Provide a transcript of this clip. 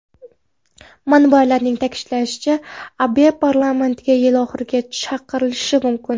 Manbalarning ta’kidlashicha, Abe parlamentga yil oxirigacha chaqirilishi mumkin.